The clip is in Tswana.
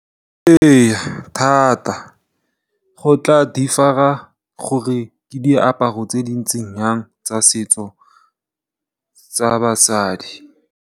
Ee thata go tla differ-a gore ke diaparo tse di ntseng yang tsa setso tsa basadi.